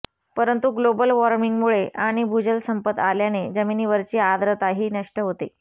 परंतु ग्लोबल वॉर्मिंगमुळे आणि भूजल संपत आल्याने जमिनीवरची आर्द्रताही नष्ट होते